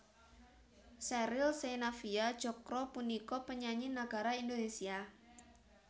Sheryl Sheinafia Tjokro punika penyanyi nagara Indonesia